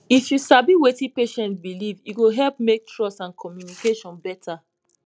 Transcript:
if you sabi wetin patient believe e go help make trust and communication better